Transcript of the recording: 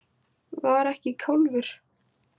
Var ekki kálfur.